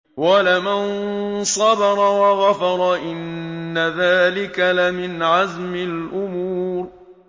وَلَمَن صَبَرَ وَغَفَرَ إِنَّ ذَٰلِكَ لَمِنْ عَزْمِ الْأُمُورِ